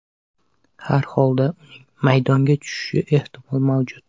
Har holda uning maydonga tushishi ehtimol mavjud.